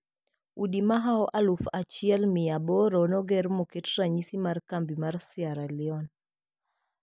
Udi mahao aluf achiel mia aboro noger moket ranyisi mar kambi ma Sierre Leone.